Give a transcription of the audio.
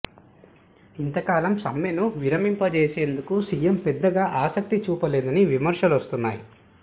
ఇంతకాలం సమ్మెను విరమింపజేసేందుకు సీఎం పెద్దగా ఆసక్తి చూపలేదని విమర్శలు వస్తున్నాయి